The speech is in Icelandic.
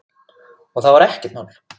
Og það var ekkert mál.